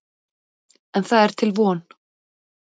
En það er til von.